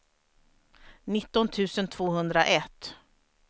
nitton tusen tvåhundraett